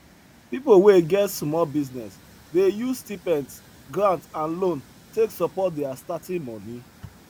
people wey get small business dey use stipends grant and loan take support their starting money